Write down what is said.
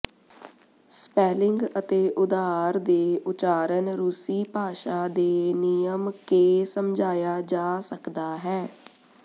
spelling ਅਤੇ ਉਧਾਰ ਦੇ ਉਚਾਰਨ ਰੂਸੀ ਭਾਸ਼ਾ ਦੇ ਨਿਯਮ ਕੇ ਸਮਝਾਇਆ ਜਾ ਸਕਦਾ ਹੈ